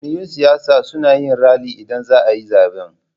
Jam'iyun siyasa suna yin rali idan zaayi zaben